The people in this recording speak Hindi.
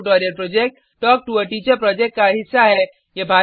spoken tutorial project talk to a teacher project का हिस्सा है